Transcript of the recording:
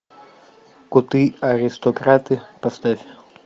коты аристократы поставь